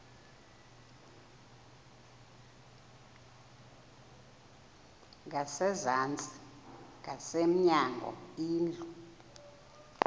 ngasezantsi ngasemnyango indlu